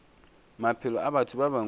maphelo a batho ba bangwe